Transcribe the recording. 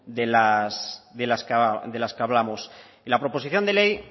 de las que hablamos la proposición de ley